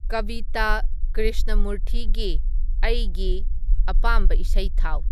ꯀꯚꯤꯇꯥ ꯀ꯭ꯔꯤꯁꯅꯃꯨꯔꯊꯤꯒꯤ ꯑꯩꯒꯤ ꯑꯄꯥꯝꯕ ꯏꯁꯩ ꯊꯥꯎ